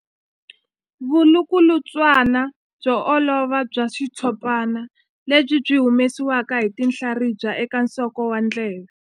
Vulukulutswana byo olova bya xitshopana lebyi byi humesiwaka hi tinhlaribya eka nsoko wa ndleve.